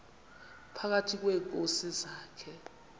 phakathi kweenkosi zakhe